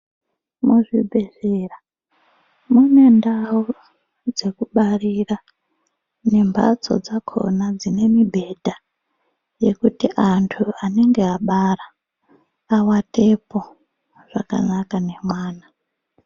Muzvibhedhlera mune ndau dzekubarira nemhatso dzakhona dzine mibhedha yekuti antu anenga abara awatepo zvakanaka nemwana.